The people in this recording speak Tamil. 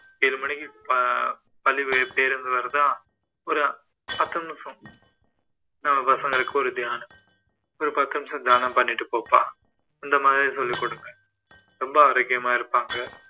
ஏழு மணிக்கு ப~ பள்ளி பேருந்து வருதா ஒரு பத்து நிமிஷம் நம்ம பசங்களுக்கு ஒரு தியானம் ஒரு பத்து நிமிஷம் தியானம் பண்ணிட்டு போப்பா அந்தமாதிரி சொல்லிக்கொடுங்க ரொம்ப ஆரோக்கியமா இருப்பாங்க